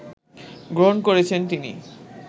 গ্রহণ করেছেন তিনি